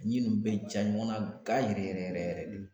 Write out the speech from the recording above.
ɲin ninnu bɛ ja ɲɔgɔnna na ga yɛrɛ yɛrɛ yɛrɛ yɛrɛ yɛrɛ de